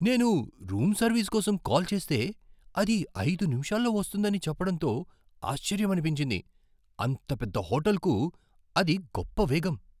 నేను room service కోసం call చేస్తే, అది ఐదు నిమిషాల్లో వస్తుందని చెప్పడంతో ఆశ్చర్యమనిపించింది. అంత పెద్ద హోటల్కు అది గొప్ప వేగం!